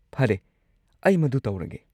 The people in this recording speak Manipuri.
ꯐꯔꯦ, ꯑꯩ ꯃꯗꯨ ꯇꯧꯔꯒꯦ꯫